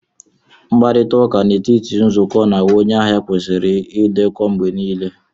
Mkparịta ụka n'etiti otu nzukọ na onye ahịa kwesịrị ịdekọ mgbe niile